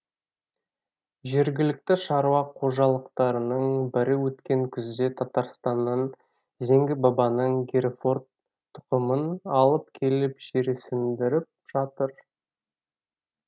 жергілікті шаруа қожалықтарының бірі өткен күзде татарстаннан зеңгі бабаның герефорд тұқымын алып келіп жерсіндіріп жатыр